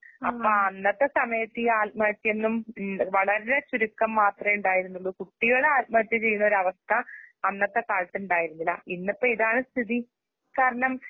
അപ്പആ അന്നത്തെസമയത്ത് ഈആൽമഹത്യന്നും വളരേ ചുരുക്കംമാത്രേഉണ്ടായിരുന്നുള്ളു. കുട്ടികള് ആൽമഹത്യചെയ്യുന്നൊരവസ്ഥ അന്നത്തെകാലത്തുണ്ടായിരുന്നില്ല. ഇന്നിപ്പംഇതാണ്സ്ഥിതി കാരണം